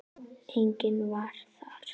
Enginn varð var.